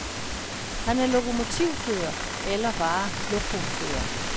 Han er lokomotivfører eller bare lokofører.